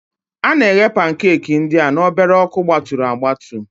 A na-eghe pankeeki ndị a na obere ọkụgbaturu agbatu